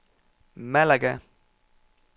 Malaga